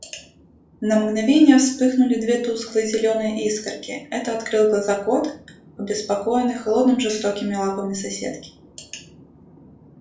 на мгновение вспыхнули две тусклые зелёные искорки это открыл глаза кот обеспокоенный холодными жёсткими лапами соседки